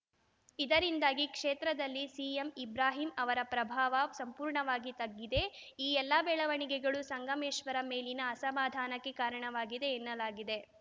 ಇದರಿಂದಾಗಿ ಕ್ಷೇತ್ರದಲ್ಲಿ ಸಿಎಂ ಇಬ್ರಾಹಿಂ ಅವರ ಪ್ರಭಾವ ಸಂಪೂರ್ಣವಾಗಿ ತಗ್ಗಿದೆ ಈ ಎಲ್ಲ ಬೆಳವಣಿಗೆಗಳು ಸಂಗಮೇಶ್ವರ್‌ ಮೇಲಿನ ಅಸಮಾಧಾನಕ್ಕೆ ಕಾರಣವಾಗಿದೆ ಎನ್ನಲಾಗಿದೆ